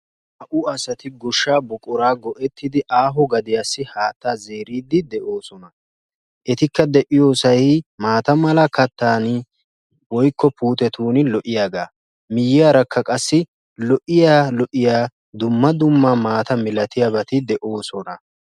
naa'u asati goshaa buquraa go'ettidi aaho gaddiyaassi haatta zeeroosona. etikka de'iyosay maata mala kataani woykko puuttiya lo'iyaagaa.